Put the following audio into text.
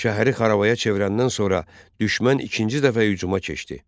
Şəhəri xarabaya çevirəndən sonra düşmən ikinci dəfə hücuma keçdi.